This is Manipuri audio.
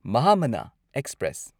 ꯃꯍꯥꯃꯅꯥ ꯑꯦꯛꯁꯄ꯭ꯔꯦꯁ